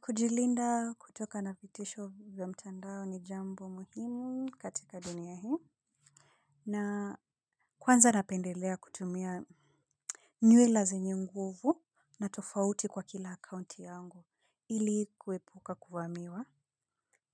Kujilinda kutoka na vitisho vya mtandao ni jambo muhimu katika dunia hii. Na kwanza napendelea kutumia nywila zenyenguvu na tofauti kwa kila account yangu ili kuepuka kuvamiwa.